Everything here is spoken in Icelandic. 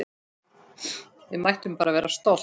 Við mættum bara vera stolt!